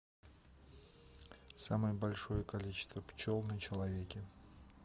самое большое количество пчел на человеке